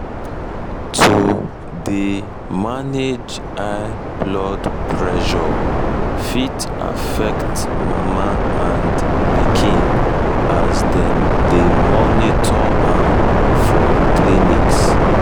to dey manage high blood pressure fit um affect mama and pikin as dem dey monitor am for clinics